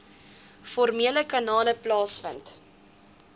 formele kanale plaasvind